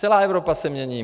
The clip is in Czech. Celá Evropa se mění.